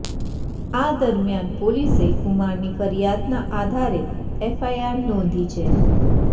આ દરમિયાન પોલીસે કુમારની ફરિયાદના આધારે એફઆઈઆર નોંધી છે